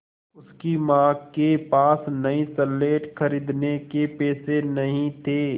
उसकी माँ के पास नई स्लेट खरीदने के पैसे नहीं थे